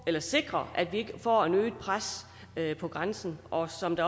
til at sikre at vi ikke får et øget pres på grænsen og som det